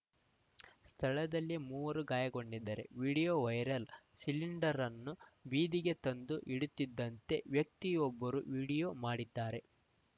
ಸ್ಥಳದಲ್ಲಿದ್ದ ಮೂವರು ಗಾಯಗೊಂಡಿದ್ದಾರೆ ವೀಡಿಯೋ ವೈರಲ್‌ ಸಿಲಿಂಡರ್‌ನ್ನು ಬೀದಿಗೆ ತಂದು ಇಡುತ್ತಿದ್ದಂತೆ ವ್ಯಕ್ತಿಯೊಬ್ಬರು ವೀಡಿಯೋ ಮಾಡಿದ್ದಾರೆ